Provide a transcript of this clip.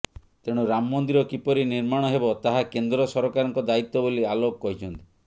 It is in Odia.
ତେଣୁ ରାମ ମନ୍ଦିର କିପରି ନିର୍ମାଣ ହେବ ତାହା କେନ୍ଦ୍ର ସରକାରଙ୍କ ଦାୟିତ୍ୱ ବୋଲି ଆଲୋକ କହିଛନ୍ତି